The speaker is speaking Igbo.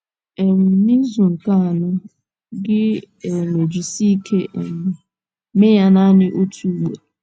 um N’izu nke anọ, gị um ejisie ike um mee ya naanị otu ugboro.